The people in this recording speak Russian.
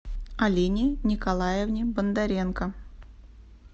алине николаевне бондаренко